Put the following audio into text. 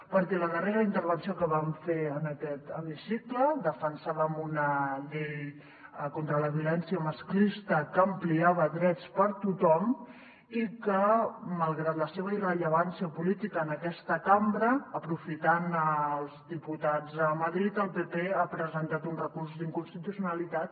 perquè en la darrera intervenció que vam fer en aquest hemicicle defensàvem una llei contra la violència masclista que ampliava drets per a tothom i que malgrat la seva irrellevància política en aquesta cambra aprofitant els diputats a madrid el pp hi ha presentat un recurs d’inconstitucionalitat